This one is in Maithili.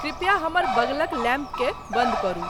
कृप्या हमर बगलक लैंप के बंद करु